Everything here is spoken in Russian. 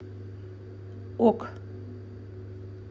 ок